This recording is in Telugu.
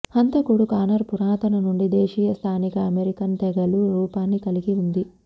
హంతకుడు కానర్ పురాతన నుండి దేశీయ స్థానిక అమెరికన్ తెగలు రూపాన్ని కలిగి ఉంది